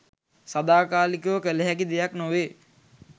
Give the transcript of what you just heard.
සදාකාලිකව කළ හැකි දෙයක් නොවේ.